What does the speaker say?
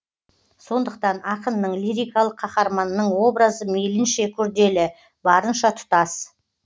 сондықтан ақынның лирикалық қаһарманының образы мейлінше күрделі барынша тұтас